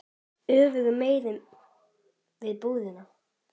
Öfugu megin við búðina.